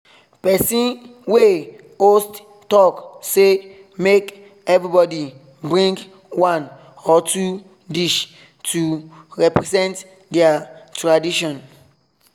person wey host talk say make everybody bring one or two dish to represent their tradition